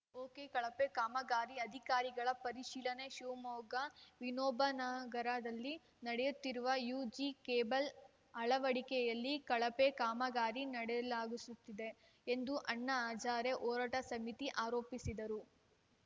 ಒಕೆಕಳಪೆ ಕಾಮಗಾರಿ ಅಧಿಕಾರಿಗಳ ಪರಿಶೀಲನೆ ಶಿವಮೊಗ್ಗ ವಿನೋಬನಗರದಲ್ಲಿ ನಡೆಯುತ್ತಿರುವ ಯುಜಿ ಕೇಬಲ್‌ ಅಳವಡಿಕೆಯಲ್ಲಿ ಕಳಪೆ ಕಾಮಗಾರಿ ನಡಲಾಸುಗಿದೆ ಎಂದು ಅಣ್ಣಾ ಹಜಾರೆ ಹೋರಾಟ ಸಮಿತಿ ಆರೋಪಿಸಿದ್ದು